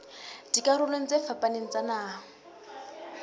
dikarolong tse fapaneng tsa naha